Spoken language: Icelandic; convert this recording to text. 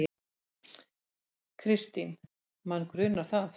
Kristín: Mann grunar það.